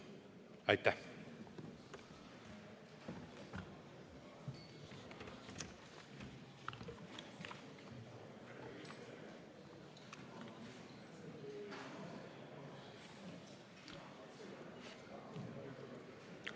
Aitäh!